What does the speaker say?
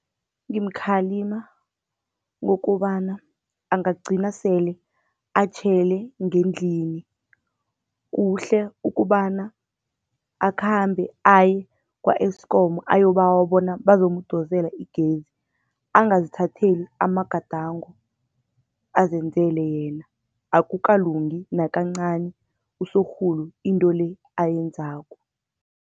Ngimkhalima ngokobana angagcina sele atjhele ngendlini. Kuhle ukobana akhambe aye kwa-Eskom ayokubawa bona bazomdosela igezi, angazithatheli amagadango azenzele yena. Akukalungi nakancani, usorhulu into le ayenzako.